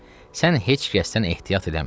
Qızım, sən heç kəsdən ehtiyat eləmə.